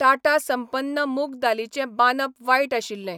टाटा संपन्न मूग दालीचें बांदप वायट आशिल्लें.